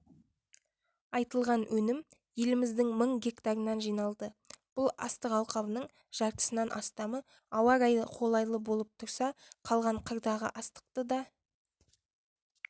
айтылған өнім еліміздің мың гектарынан жиналды бұл астық алқабының жартысынан астамы ауа райы қолайлы болып тұрса қалған қырдағы астықты да